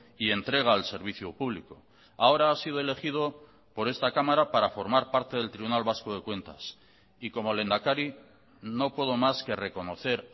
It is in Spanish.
y entrega al servicio público ahora ha sido elegido por esta cámara para formar parte del tribunal vasco de cuentas y como lehendakari no puedo más que reconocer